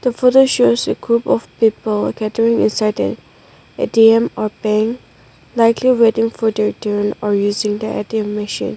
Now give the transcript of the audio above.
photo shares a group of people gathering inside a A_T_M or bank likely waiting for their turn or using the A_T_M machine.